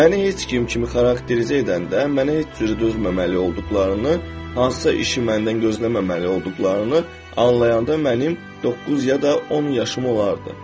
Məni heç kim kimi xarakterizə edəndə, mənə heç cürə dözməməli olduqlarını, hansısa işi məndən gözləməməli olduqlarını anlayanda mənim doqquz ya da 10 yaşım olardı.